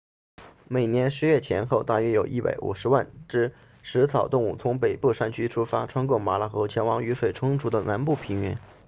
每年10月前后大约有150万只食草动物从北部山区出发穿过马拉河前往雨水充足的南部平原